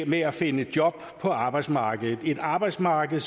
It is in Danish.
med at finde job på arbejdsmarkedet et arbejdsmarked